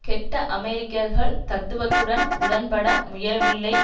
கெட்ட அமெரிக்கர்கள் தத்துவத்துடன் உடன்பட முயலவில்லைவெள்ளை